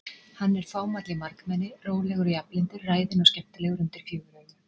Hann er fámáll í margmenni, rólegur og jafnlyndur, ræðinn og skemmtilegur undir fjögur augu.